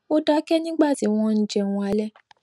ó dáké nígbà tí wón ń jẹun alé